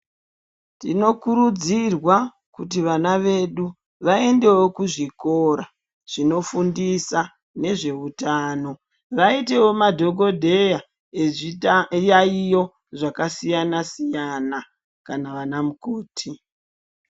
Tinokurudzirwa kuti vana vedu vaendewo kuzvikora zvinofundisa nezveutano vaitewo madhokodheya ezviyaiyo zvakasiyana siyana kana ana mukoti.